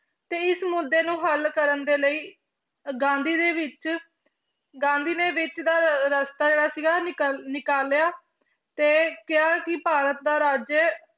ਤੇ ਇਸ ਮੁੱਦੇ ਨੂੰ ਹੱਲ ਕਰਨ ਦੇ ਲਈ ਗਾਂਧੀ ਦੇ ਵਿੱਚ ਗਾਂਧੀ ਨੇ ਵਿੱਚ ਦਾ ਰਸਤਾ ਜਿਹੜਾ ਸੀਗਾ ਨਿਕਲ, ਨਿਕਾਲਿਆ ਤੇ ਕਿਹਾ ਕਿ ਭਾਰਤ ਦਾ ਰਾਜ